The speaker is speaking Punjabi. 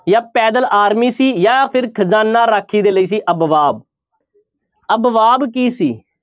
ਜਾਂ ਪੈਦਲ army ਸੀ ਜਾਂ ਫਿਰ ਖਜਾਨਾ ਰਾਖੀ ਦੇ ਲਈ ਸੀ ਅਬਵਾਬ ਅਬਵਾਬ ਕੀ ਸੀ?